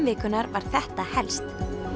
vikunnar var þetta helst